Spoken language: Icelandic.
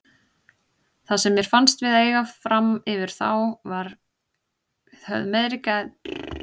Það sem mér fannst við eiga framyfir þá var við höfðum meiri gæði í sóknarleiknum.